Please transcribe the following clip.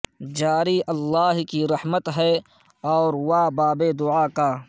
جاری اللہ کی رحمت ہے اور وا باب دعا کا